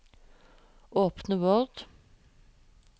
Åpne Word